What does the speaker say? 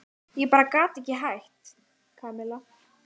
Ég bara gat ekki hætt, Kamilla.